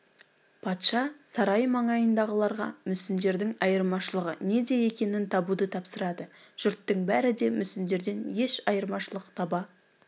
патша сарай маңайындағыларға мүсіндердің айырмашылығы неде екенін табуды тапсырады жұрттың бәрі де мүсіндерден еш айырмашылық таба